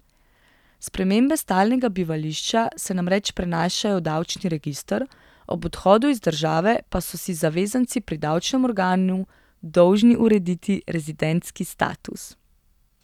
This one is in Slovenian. Spremembe stalnega bivališča se namreč prenašajo v davčni register, ob odhodu iz države pa so si zavezanci pri davčnem organu dolžni urediti rezidentski status.